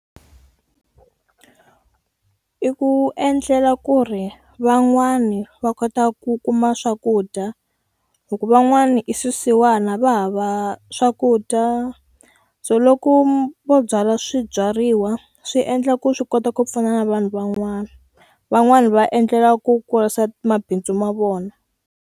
I ku endlela ku ri van'wani va kota ku kuma swakudya hi ku van'wana i swisiwana va hava swa swakudya so loko vo byala swibyariwa swi endla ku swi kota ku pfuna na vanhu van'wani van'wani va endlela ku kurisa mabindzu ma vona.